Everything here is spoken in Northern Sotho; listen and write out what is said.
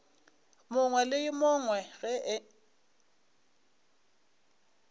mongwe le yo mongwe ge